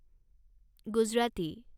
Gujarati